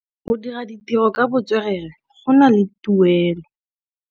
Go dira ditirô ka botswerere go na le tuelô.